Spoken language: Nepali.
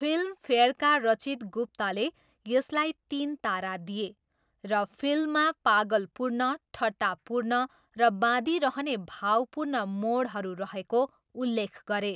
फिल्मफेयरका रचित गुप्ताले यसलाई तिन तारा दिए र फिल्ममा पागलपूर्ण, ठट्टापूर्ण र बाँधिरहने भावपूर्ण मोडहरू रहेको उल्लेख गरे।